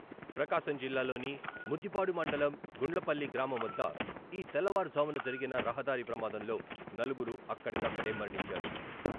ప్రకాశం జిల్లాలోని ముద్దిపాడు మండలం గుండ్లపల్లి గ్రామం వద్ద ఈ తెల్లవారు ఝామున జరిగిన రహదారి ప్రమాదంలో నలుగురు అక్కడికక్కడే మరణించారు.